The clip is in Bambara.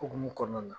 Hokumu kɔnɔna na